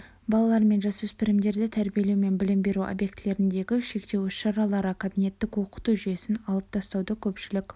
балалар мен жасөспірімдерді тәрбиелеу мен білім беру объектілеріндегі шектеу іс-шаралары кабинеттік оқыту жүйесін алып тастауды көпшілік